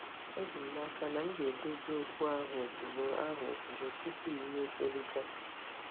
Eji m n'aka na m ga-edozi okwu ahụ ozugbo, ahụ ozugbo, tupu iwe tolite.